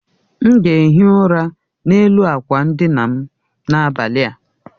M ga ehi ụra n'elu akwa ndina m n'abalị a